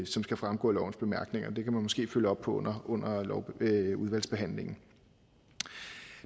som skal fremgå af lovens bemærkninger og det kan man måske følge op på under udvalgsbehandlingen